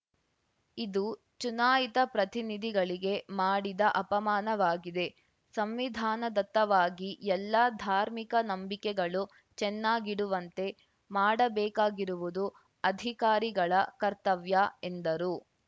ಇದು ಚುನಾಯಿತ ಪ್ರತಿನಿಧಿಗಳಿಗೆ ಮಾಡಿದ ಅಪಮಾನವಾಗಿದೆ ಸಂವಿಧಾನದತ್ತವಾಗಿ ಎಲ್ಲಾ ಧಾರ್ಮಿಕ ನಂಬಿಕೆಗಳು ಚೆನ್ನಾಗಿಡುವಂತೆ ಮಾಡಬೇಕಾಗಿರುವುದು ಅಧಿಕಾರಿಗಳ ಕರ್ತವ್ಯ ಎಂದರು